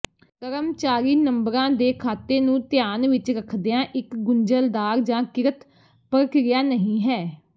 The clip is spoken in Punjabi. ਕਰਮਚਾਰੀ ਨੰਬਰਾਂ ਦੇ ਖਾਤੇ ਨੂੰ ਧਿਆਨ ਵਿਚ ਰੱਖਦਿਆਂ ਇਕ ਗੁੰਝਲਦਾਰ ਜਾਂ ਕਿਰਤ ਪ੍ਰਕਿਰਿਆ ਨਹੀਂ ਹੈ